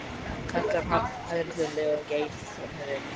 kallaði hann hæðnislega um leið og hann geystist framhjá þeim.